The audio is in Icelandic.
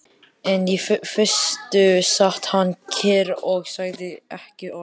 En í fyrstu sat hann kyrr og sagði ekki orð.